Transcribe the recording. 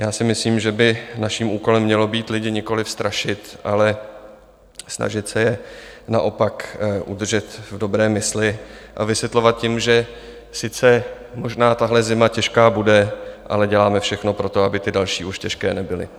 Já si myslím, že by naším úkolem mělo být lidi nikoliv strašit, ale snažit se je naopak udržet v dobré mysli a vysvětlovat jim, že sice možná tahle zima těžká bude, ale děláme všechno pro to, aby ty další už těžké nebyly.